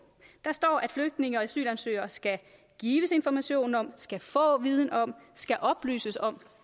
der står at flygtninge og asylansøgere skal gives information om skal få viden om skal oplyses om